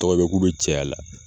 Tɔgɔ bɛ k'u be cɛya la